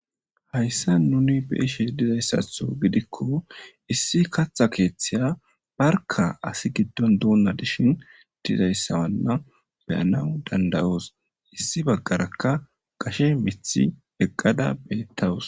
Hayissani nunni beyishe dizayisatho gidikko issi katha kethiya barikka assi giddoni donna utidayissa beyanaw danidayossi issi bagarakka gashe mithi eqadda betawusu.